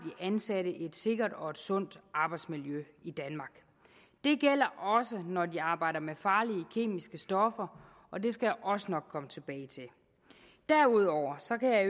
ansatte et sikkert og sundt arbejdsmiljø i danmark det gælder også når de arbejder med farlige kemiske stoffer og det skal jeg også nok komme tilbage til derudover